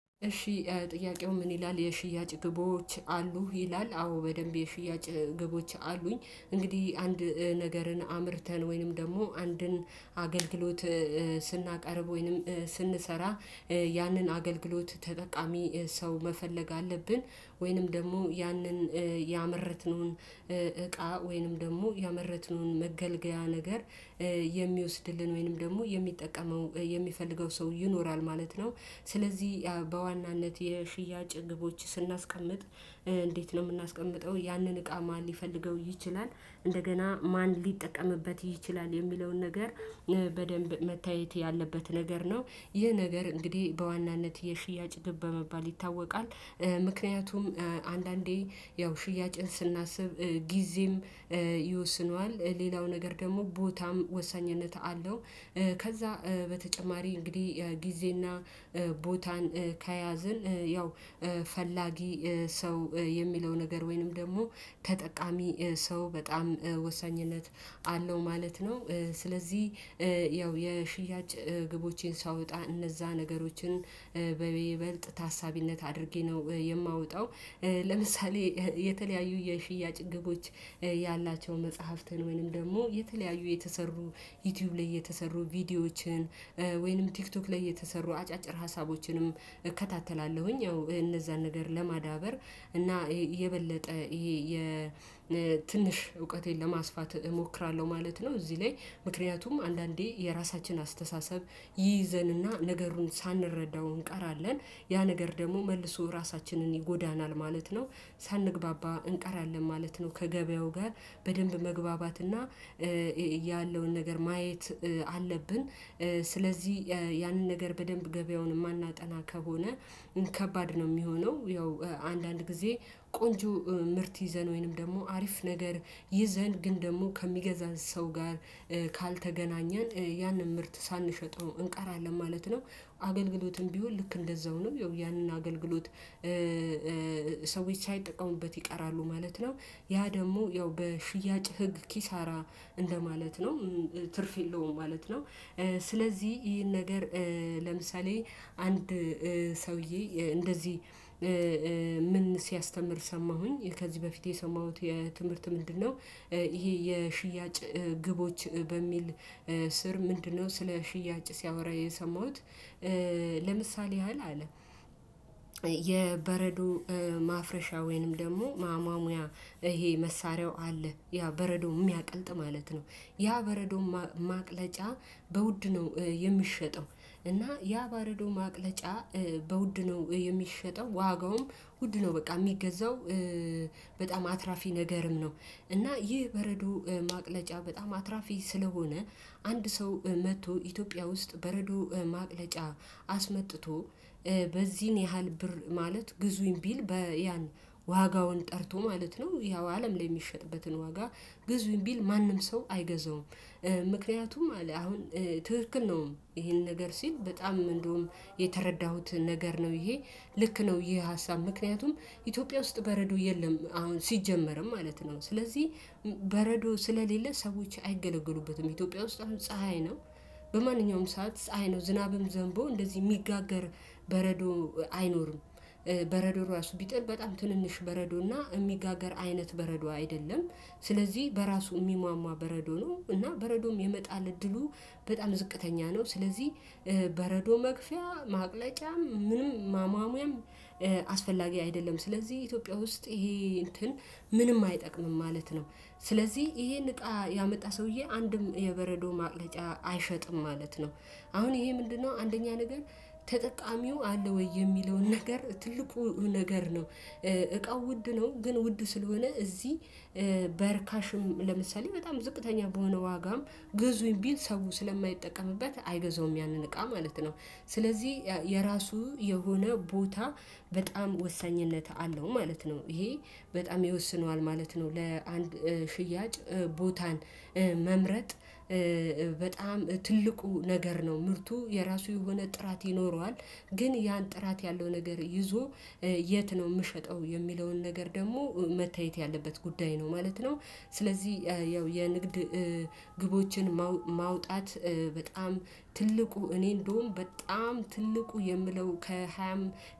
እሺ ጥያቄው ምን ይላል የሽያጭ ግቦች አሉህ ይላል? አዎ በደንብ የሽያጭ ግቦች አሉኝ። እንግዲህ አንድ ነገርን አምርተን ወይንም ደግሞ አንድን አገልግሎት ስናቀርብ ወይንም ስንሰራ ያንን አገልግሎት ተጠቃሚ ሰው መፈለግ አለብን ወይንም ደግሞ ያንን ያመረትነውን እቃ ወይንም ደግሞ ያመረትነውን መገልገያ ነገር የሚወስድልን ወይንም ደግሞ የሚጠቀመው የሚፈልገው ሰው ይኖራል ማለት ነው። ስለዚህ በዋናነት የሽያጭ ግቦች ስናስቀምጥ እንዴት ነው የምናስቀምጠው ያንን እቃ ማን ሊፈልገው ይችላል እንደገና ማን ሊጠቀምበት ይችላል የሚለውን ነገር በደንብ መታየት ያለበት ነገር ነው። ይህ ነገር እንግዲህ በዋናነት የሽያጭ ግብ በመባል ይታወቃል። ምክንያቱም አንዳንዴ ያው ሽያጭን ስናስብ ጊዜም ይወስነዋል ሌላው ነገር ደግሞ ቦታም ወሳኝነት አለው። ከዛ በተጨማሪ እንግዲህ ጊዜና ቦታን ከያዝን ያው ፈላጊ ሰው የሚለው ነገር ወይንም ደግሞ ተጠቃሚ ሰው በጣም ወሳኝነት አለው ማለት ነው። ስለዚህ ያው የሽያጭ ግቦቼን ሳወጣ እነዛ ነገሮችን በይበልጥ ታሳቢነት አድርጌ ነው የማወጣው። ለምሳሌ የተለያዩ የሽያጭ ግቦች ያላቸው መጽሐፍትን ወይም ደግሞ የተለያዩ የተሰሩ ዩቲዩብ ላይ የተሰሩ ቪዲዮዎችን ወይንም ቲክቶክ ላይ የተሰሩ አጫጭር ሀሳቦችንም እከታተላለሁኝ ያው እነዛን ነገር ለማዳበር እና የበለጠ ይሄ የትንሽ እውቀቴን ለማስፋት እሞክራለሁ ማለት ነው። እዚህ ላይ ምክንያቱም አንዳንዴ የራሳችን አስተሳሰብ ይይዘንና ነገሩን ሳንረዳው እንቀራለን ያ ነገር ደግሞ መልሶ ራሳችንን ይጎዳናል ማለት ነው። ሳንግባባ እንቀራለን ማለት ነው። ከገበያው ጋር በደንብ መግባባትና ያለውን ነገር ማየት አለብን። ስለዚህ ያንን ነገር በደንብ ገበያውን የማናጠና ከሆነ ከባድ ነው የሚሆነው። ያው አንዳንድ ጊዜ ቆንጆ ምርት ይዘን ወይንም ደግሞ አሪፍ ነገር ይዘን ግን ደግሞ ከሚገዛን ሰው ጋር ካልተገናኘን ያንን ምርት ሳንሸጠው እንቃራለን ማለት ነው። አገልግሎትም ቢሆን ልክ እንደዛው ነው ያው ያንን አገልግሎት ሰዎች ሳይጠቀሙበት ይቀራሉ ማለት ነው። ያ ደግሞ ያው በሽያጭ ህግ ኪሳራ እንደማለት ነው። ትርፍ የለውም ማለት ነው። ስለዚህ ይሄን ነገር ለምሳሌ አንድ ሰውዬ እንደዚህ ምን ሲያስተምር ሰማሁኝ ከዚህ በፊት የሰማሁት የትምህርት ምንድነው? ይሄ የሽያጭ ግቦች በሚል ስር ምንድነው? ስለ ሽያጭ ሲያወራ የሰማሁት ለምሳሌ ያህል አለ የበረዶ ማፍረሻ ወይንም ደግሞ ማማሙያ ይሄ መሳሪያው አለ ያ በረዶ የሚያቀልጥ ማለት ነው። ያ በረዶ ማቅለጫ በውድ ነው የሚሸጠው እና ያ በረዶ ማቅለጫ በውድ ነው የሚሸጠው ዋጋውም ውድ ነው በቃ የሚገዛው በጣም አትራፊ ነገርም ነው። እና ይህ በረዶ ማቅለጫ በጣም አትራፊ ስለሆነ አንድ ሰው መጥቶ ኢትዮጵያ ውስጥ በረዶ ማቅለጫ አስመጥቶ በዚህን ያህል ብር ማለት ግዙኝ ቢል በያን ዋጋውን ጠርቶ ማለት ነው ያው አለም ላይ የሚሸጥበትን ዋጋ ግዙኝ ቢል ማንም ሰው አይገዛውም። ምክንያቱም አለ አሁን ትክክል ነው። ይሄን ነገር ሲል በጣም እንደውም የተረዳሁት ነገር ነው ይሄ ልክ ነው ይህ ሀሳብ ምክንያቱም ኢትዮጵያ ውስጥ በረዶ የለም አሁን ሲጀመርም ማለት ነው። ስለዚህ በረዶ ስለሌለ ሰዎች አይገለገሉበትም ኢትዮጵያ ውስጥ ፀሀይ ነው። በማንኛውም ሰዓት ፀሀይ ነው ዝናብም ዘንቦ እንደዚህ የሚጋገር በረዶ አይኖርም። በረዶ ራሱ ቢጥል በጣም ትንንሽ በረዶና የሚጋገር አይነት በረዶ አይደለም። ስለዚህ በራሱ የሚሟሟ በረዶ ነው። እና በረዶም የመጣል እድሉ በጣል ዝቅተኛ ነው። ስለዚህ በረዶ መክፈያ ማቅለጫ ምንም ማማሙያም አስፈላጊ አይደለም። ስለዚህ ኢትዮጵያ ውስጥ ይሄ እንትን ምንም አይጠቅምም ማለት ነው። ስለዚህ ይሄን እቃ ያመጣ ሰውዬ አንድም የበረዶ ማቅለጫ አይሸጥም ማለት ነው። አሁን ይሄ ምንድነው? አንደኛ ነገር ተጠቃሚው አለ ወይ የሚለውን ነገር ትልቁ ነገር ነው። እቃው ውድ ነው። ግን ውድ ስለሆነ እዚህ በርካሽም ለምሳሌ በጣም ዝቅተኛ በሆነ ዋጋም ግዙኝ ቢል ሰው ስለማይጠቀምበት አይገዛውም ያንን እቃ ማለት ነው። ስለዚህ የራሱ የሆነ ቦታ በጣም ወሳኝነት አለው ማለት ነው። ይሄ በጣም ይወስነዋል ማለት ነው። ለአንድ ሽያጭ ቦታን መምረጥ በጣም ትልቁ ነገር ነው። ምርቱ የራሱ የሆነ ጥራት ይኖረዋል። ግን ያን ጥራት ያለው ነገር ይዞ የት ነው የምሸጠው የሚለውን ነገር ደግሞ መታየት ያለበት ጉዳይ ነው ማለት ነው። ስለዚህ ያው የንግድ ግቦችን ማውጣት በጣም ትልቁ እኔ እንደውም በጣም ትልቁ የምለው ከሃያም